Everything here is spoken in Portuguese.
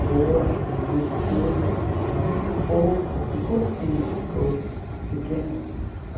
Vou, acho bonito tudo, mas pouco assim, cursinhos, coisas pequenas.